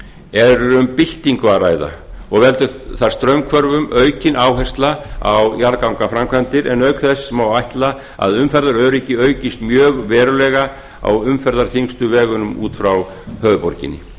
er um byltingu að ræða og veldur þar straumhvörfum aukin áhersla á jarðgangaframkvæmdir en auk þess má ætla að umferðaröryggi aukist mjög verulega á umferðarþyngstu vegunum út frá höfuðborginni